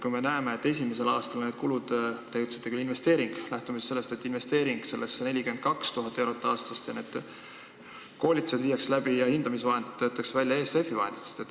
Me näeme, et esimesel aastal on asjaomased kulud – te ütlesite küll "investeering" ja lähtume siis sellest –, et investeering sellesse on 42 000 eurot aastas ning et koolitused viiakse läbi ja hindamisvahendid töötatakse välja ESF-i vahendeid kasutades.